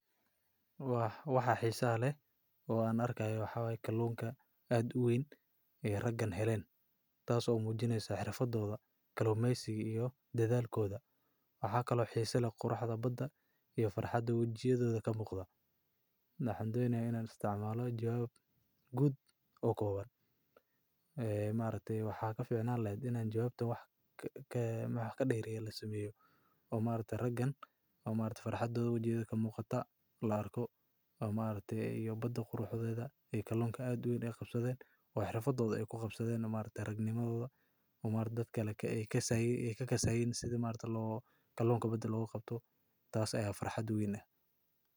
Waxa xeesaha leeh oo an argayoh waxawaye kaluunga aad u weeyn Aya ragan helin, kaso mujineysoh xerfadotha kalumeysiga iyo dathalkotha waxakali oo xesa leeh Quraxda badaa, iyo farxaada waijyathitha kamuqdah maxan donayabina isticmaloh jawab kuud aah oo kowbaan. Ee maargtahay waxa kaficnanlaheet Ina jawabta waxkaderiya lasameeyoh, oo maargtahay ragan farxaada waijyathitha kamuqdah la arkoh oo maargtahay baada quruxda ee kaluunga aad u weeyn AA qabsatheen wa xerfadotha ay ku qabsatheen ragnimthotha oo maargtay dadkali ay kasay Aya kakasayin setha maaragtay lo kaluunga baad lo ka Qabtoh taas Aya farxaada weyn ah.